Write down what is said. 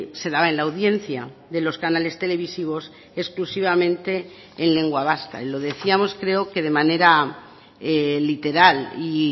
se daba en la audiencia de los canales televisivos exclusivamente en lengua vasca y lo decíamos creo que de manera literal y